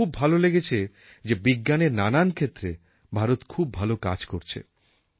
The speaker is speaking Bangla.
আমার খুব ভাল লেগেছে যে বিজ্ঞানের নানান ক্ষেত্রে ভারত খুব ভাল কাজ করছে